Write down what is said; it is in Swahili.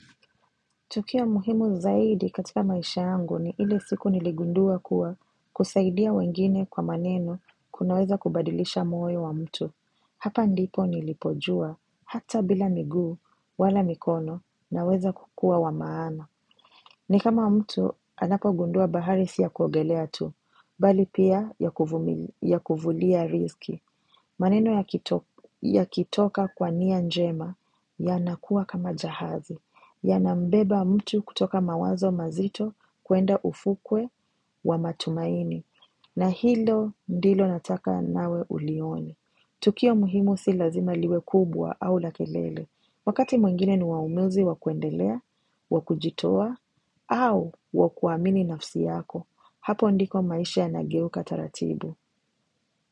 Tukio muhimu zaidi katika maisha yangu ni ile siku niligundua kuwa kusaidia wengine kwa maneno kunaweza kubadilisha moyo wa mtu. Hapa ndipo nilipojua hata bila miguu wala mikono naweza kukuwa wamaana. Ni kama wa mtu anapo gundua bahari siya kuogelea tu, bali pia ya kuvulia rizki. Maneno ya kitoka kwa nia njema ya nakuwa kama jahazi, ya nambeba mtu kutoka mawazo mazito kuenda ufukwe wa matumaini. Na hilo ndilo nataka nawe ulione. Tukio muhimu si lazima liwe kubwa au lakelele. Wakati mwingine ni wamuzi wakuendelea, wakujitowa au wakuamini nafsi yako. Hapo ndiko maisha ya nageuka taratibu.